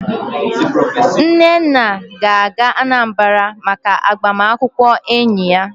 Nnenna ga-aga Anambra maka agbamakwụkwọ enyi ya